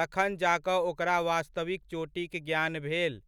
तखन जा कऽ ओकरा वास्तविक चोटीक ज्ञान भेल।